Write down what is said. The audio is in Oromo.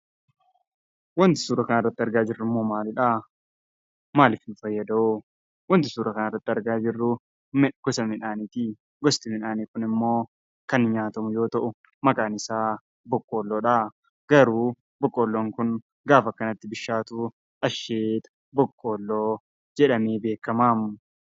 Wanti suuraa kanarratti argaa jirrummoo maalidhaa? maalif nu fayyadawoo? wanti suura kanarratti argaa jirruu gosa midhaanitii. gosti midhaanii kunimmoo kan nyaatamu yoo ta'u maqaan isaa boqqollodhaa. Garuu boqqolloon kun gaafa akkanatti bishaatuu asheeta boqqolloo jedhamee beekamaa.